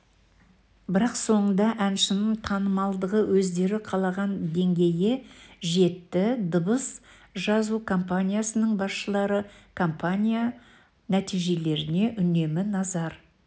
бірақ соңында әншінің танымалдығы өздері қалаған деңгейге жетті дыбыс жазу компаниясының басшылары кампания нәтижелеріне үнемі назар